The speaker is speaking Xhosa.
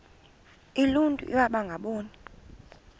uluntu iwaba ngaboni